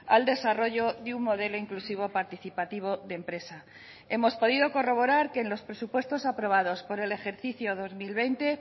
al desarrollo de un modelo inclusivo participativo de empresa hemos podido corroborar que en los presupuestos aprobados por el ejercicio dos mil veinte